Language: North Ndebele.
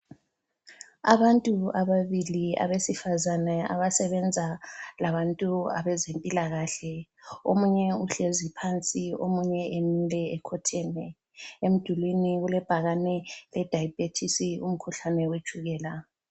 Abantu ababili abesifazana abasebenza labantu abezempilakahle. Omunye uhlezi phansi omunye emile ekhotheme. Emdulini kulebhakane ledayibhethisi umkhuhlane wetshukela.